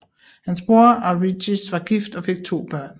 Hans bror Arichis var gift og fik to børn